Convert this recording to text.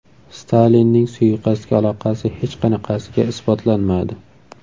Stalinning suiqasdga aloqasi hech qanaqasiga isbotlanmadi.